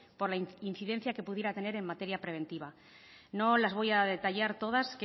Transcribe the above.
por la incidencia que pudiera tener en materia preventiva no las voy a detallar todas